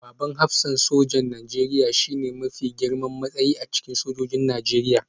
Babban hafsan sojan Najeriya shine mafi girman matsayi a cikin sojojin Najeriya